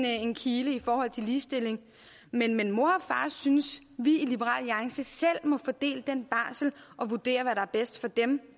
en kile i forhold til ligestilling men men mor og far synes vi i liberal alliance selv må fordele den barsel og vurdere hvad der er bedst for dem